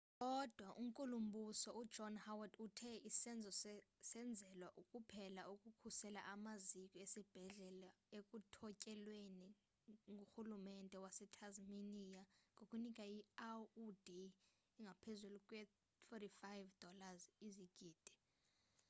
kodwa u-nkulumbuso u-john howard uthe isenzo senzelwe kuphela ukukhusela amaziko esibhedlele ekuthotyelweni ngurhulumente wase-tasmania ngokunika i-aud engaphezulu kwe-$45 izigidi